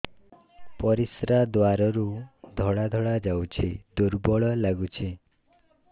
ପରିଶ୍ରା ଦ୍ୱାର ରୁ ଧଳା ଧଳା ଯାଉଚି ଦୁର୍ବଳ ଲାଗୁଚି